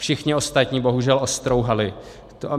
Všichni ostatní bohužel ostrouhali.